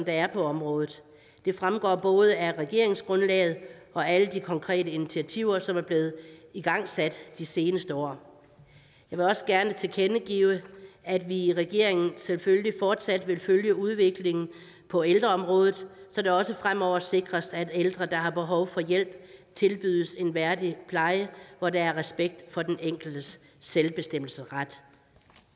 er på området det fremgår både af regeringsgrundlaget og alle de konkrete initiativer som er blevet igangsat de seneste år jeg vil også gerne tilkendegive at vi i regeringen selvfølgelig fortsat vil følge udviklingen på ældreområdet så det også fremover sikres at ældre der har behov for hjælp tilbydes en værdig pleje hvor der er respekt for den enkeltes selvbestemmelsesret